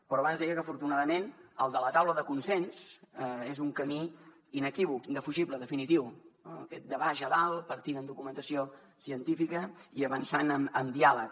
però abans deia que afortunadament el de la taula de consens és un camí inequívoc indefugible definitiu eh aquest de baix a dalt partint de documentació científica i avançant amb diàleg